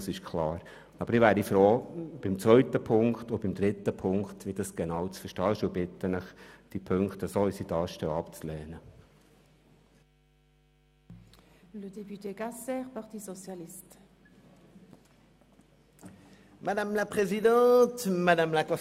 Ich wäre jedoch froh, zu erfahren, wie die Ziffern 2 und 3 genau zu verstehen sind, und ich bitte Sie, diese beiden in der vorliegenden Form abzulehnen.